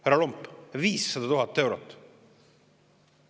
Härra Lomp, 500 000 eurot!